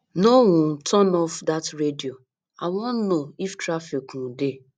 no um turn off dat radio i wan know if traffic um dey